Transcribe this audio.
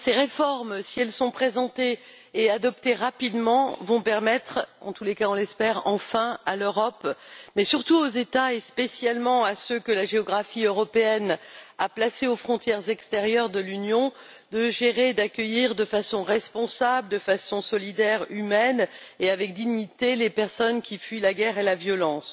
Monsieur le Président, ces réformes, si elles sont présentées et adoptées rapidement, vont permettre enfin en tous les cas, on l'espère à l'Europe, mais surtout aux États, et spécialement à ceux que la géographie européenne a placés aux frontières extérieures de l'Union, de gérer et d'accueillir de façon responsable, solidaire, humaine, et avec dignité, les personnes qui fuient la guerre et la violence.